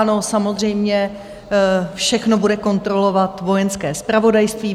Ano, samozřejmě, všechno bude kontrolovat Vojenské zpravodajství.